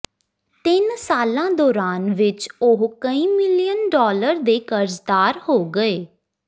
ਤਿੰਨ ਸਾਲਾਂ ਦੌਰਾਨ ਵਿੱਚ ਉਹ ਕਈ ਮਿਲੀਅਨ ਡਾਲਰ ਦੇ ਕਰਜ਼ਦਾਰ ਹੋ ਗਏ